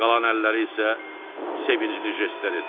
Qalan əlləri isə sevincli jestlər etdi.